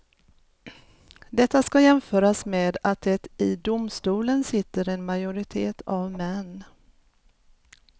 Detta ska jämföras med att det i domstolen sitter en majoritet av män.